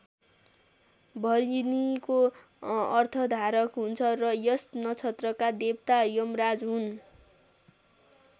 भरिणीको अर्थ धारक हुन्छ र यस नक्षत्रका देवता यमराज हुन्।